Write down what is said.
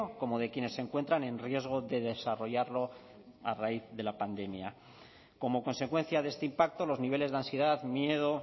como de quienes se encuentran en riesgo de desarrollarlo a raíz de la pandemia como consecuencia de este impacto los niveles de ansiedad miedo